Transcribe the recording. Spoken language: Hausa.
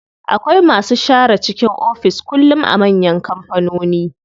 Akwai masu share cikin ofis kullum a manyan kampanoni.